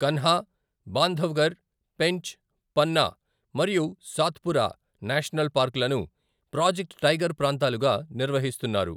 కన్హా, బాంధవ్ఘర్, పెంచ్, పన్నా మరియు సాత్పురా నేషనల్ పార్కులను project tiger ప్రాంతాలుగా నిర్వహిస్తున్నారు.